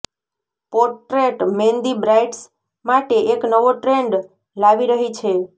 portrait mehndi brides માટે એક નવો ટ્રેન્ડ લાવી રહી છે